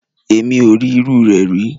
Èmi ò rí irúu rẹ̀ rí.